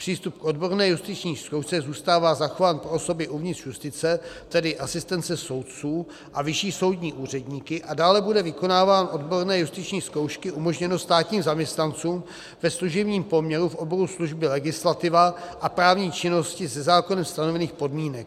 Přístup k odborné justiční zkoušce zůstává zachován pro osoby uvnitř justice, tedy asistence soudců a vyšší soudní úředníky, a dále bude vykonávání odborné justiční zkoušky umožněno státním zaměstnancům ve služebním poměru v oboru služby legislativa a právní činnosti za zákonem stanovených podmínek.